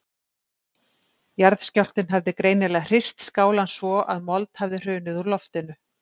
Jarðskjálftinn hafði greinilega hrist skálann svo að mold hafði hrunið úr loftinu.